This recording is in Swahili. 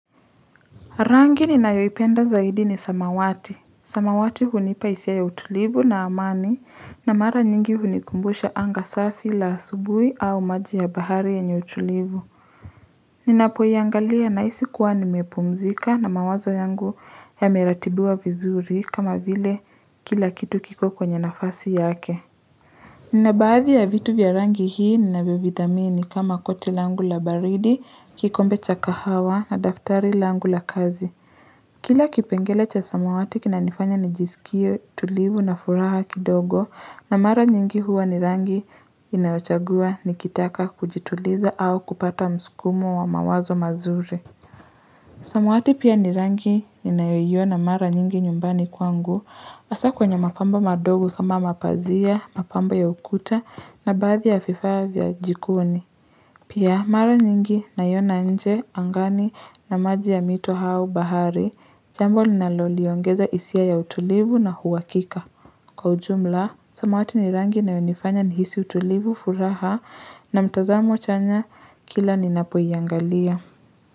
Rangi ninayoipenda zaidi ni samawati. Samawati hunipa hisia ya utulivu na amani na mara nyingi hunikumbusha anga safi la asubui au maji ya bahari yenye utulivu. Ninapoiangalia nahisi kuwa nimepumzika na mawazo yangu yameratibiwa vizuri kama vile kila kitu kiko kwenye nafasi yake. Ninabaadhi ya vitu vya rangi hii ninavyovidhamini kama koti langu la baridi, kikombe cha kahawa na daftari langu la kazi. Kila kipengele cha samawati kinanifanya nijisikie tulivu na furaha kidogo na mara nyingi huwa ni rangi ninayochagua nikitaka kujituliza au kupata msukumo wa mawazo mazuri. Samawati pia ni rangi ninayoiona mara nyingi nyumbani kwangu hasa kwenye mapambo madogo kama mapazia, mapambo ya ukuta na baadhi ya vifaa vya jikoni. Pia mara nyingi naiona nje angani na maji ya mito au bahari, jambo linaloliongeza hisia ya utulivu na uhakika. Kwa ujumla, samawati ni rangi inayonifanya nihisi utulivu furaha na mtazamo chanya kila ninapoiangalia.